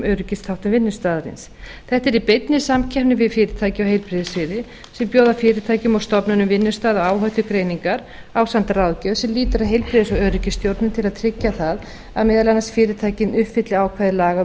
öryggisþáttum vinnustaðarins þetta er í beinni samkeppni við fyrirtæki á heilbrigðissviði sem bjóða fyrirtækjum og stofnunum vinnustaða og áhættugreiningar ásamt ráðgjöf sem lýtur að heilbrigðis og öryggisstjórnun til að tryggja það að meðal annars fyrirtækin uppfylli ákvæði laga um